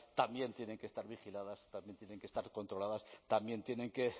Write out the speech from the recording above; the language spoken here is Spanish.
también tienen que estar vigiladas también tienen que estar controladas también tienen que